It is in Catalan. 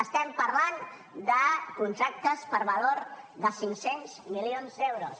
estem parlant de contractes per valor de cinc cents milions d’euros